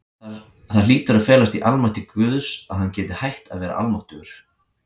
Það hlýtur að felast í almætti Guðs, að hann geti hætt að vera almáttugur.